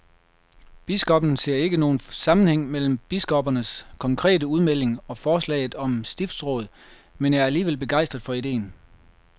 Biskoppen ser ikke nogen sammenhæng mellem biskoppernes konkrete udmelding og forslaget om stiftsråd, men er alligevel begejstret for ideen.